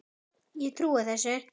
Ég trúi þessu.